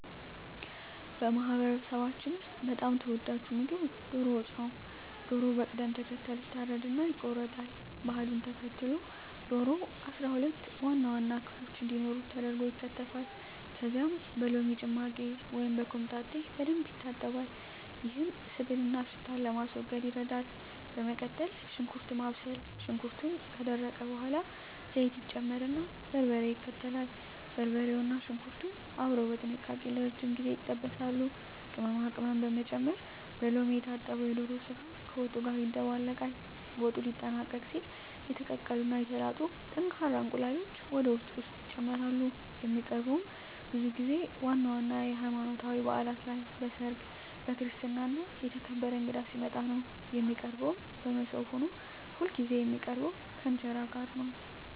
በማህበረሰባችን ውስጥ በጣም ተወዳጁ ምግብ ዶሮ ወጥ ነው። ዶሮው በቅደም ተከተል ይታረድና ይቆረጣል። ባህሉን ተከትሎ ዶሮው 12 ዋና ዋና ክፍሎች እንዲኖሩት ተደርጎ ይከተፋል። ከዚያም በሎሚ ጭማቂ ወይም በኮምጣጤ በደንብ ይታጠባል፤ ይህም ስብንና ሽታን ለማስወገድ ይረዳል። በመቀጠል ሽንኩርት ማብሰል፣ ሽንኩርቱ ከደረቀ በኋላ ዘይት ይጨመርና በርበሬ ይከተላል። በርበሬውና ሽንኩርቱ አብረው በጥንቃቄ ለረጅም ጊዜ ይጠበሳሉ። ቅመማ ቅመም መጨመር፣ በሎሚ የታጠበው የዶሮ ስጋ ከወጡ ጋር ይደባለቃል። ወጡ ሊጠናቀቅ ሲል የተቀቀሉ እና የተላጡ ጠንካራ እንቁላሎች ወደ ወጡ ውስጥ ይጨመራሉ። የሚቀርበውም ብዙ ጊዜ ዋና ዋና የሀይማኖታዊ ባእላት ላይ፣ በሰርግ፣ በክርስትና እና የተከበረ እንግዳ ሲመጣ ነው። የሚቀርበውም በሞሰብ ሆኖ ሁልጊዜ የሚቀርበው ከእንጀራ ጋር ነው።